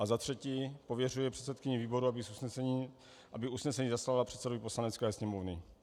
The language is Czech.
A za třetí pověřuje předsedkyni výboru, aby usnesení zaslala předsedovi Poslanecké sněmovny.